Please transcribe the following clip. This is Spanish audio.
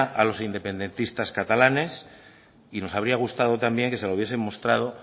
a los independistas catalanes y nos habría gustado también que se la hubiesen mostrado